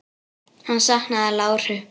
Hann saknaði láru.